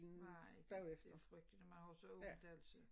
Nej det frygteligt og man har så ondt altid